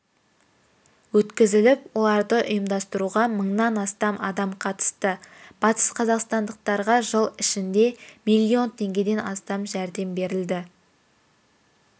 өткізіліп оларды ұйымдастыруға мыңнан астам адам қатысты батысқазақстандықтарға жыл ішінде миллион теңгеден астам жәрдем берілді